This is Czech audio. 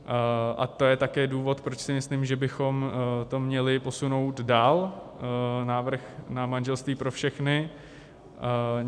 A to je také důvod, proč si myslím, že bychom to měli posunout dál - návrh na manželství pro všechny.